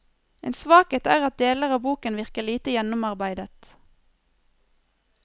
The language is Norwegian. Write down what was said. En svakhet er at deler av boken virker lite gjennomarbeidet.